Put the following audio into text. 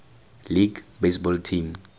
league baseball team